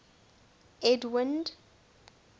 edwind